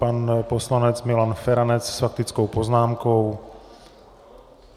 Pan poslanec Milan Feranec s faktickou poznámkou.